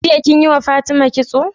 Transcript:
Jiya kinyi wa fatima kitso?